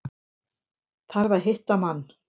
Þarf að hitta mann.